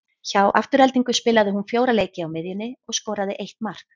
Hjá Aftureldingu spilaði hún fjóra leiki á miðjunni og skoraði eitt mark.